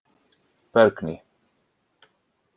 Bergný